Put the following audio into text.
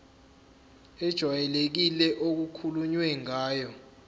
ejwayelekile okukhulunywe ngayo